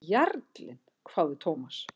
Jarlinn? hváði Thomas.